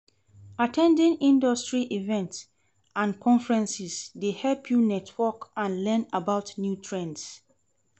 At ten ding industry events and conferences dey help you network and learn about new trends.